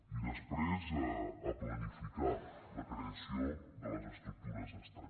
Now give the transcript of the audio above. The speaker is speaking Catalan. i després a planificar la creació de les estructures d’estat